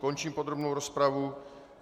Končím podrobnou rozpravu.